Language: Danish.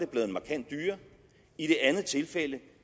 i det andet tilfælde